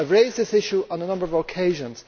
I have raised this issue on a number of occasions.